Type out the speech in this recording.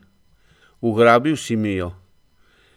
Ugrabil si mi jo!